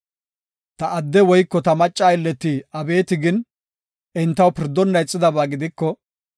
“Ta adde woyko ta macca aylleti abeeti gin, entaw pirdonna ixidaba gidiko,